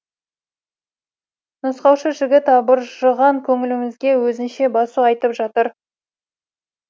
нұсқаушы жігіт абыржыған көңілімізге өзінше басу айтып жатыр